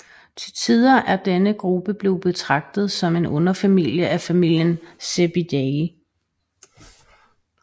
Til tider er denne gruppe blevet betragtet som en underfamilie af familien Cebidae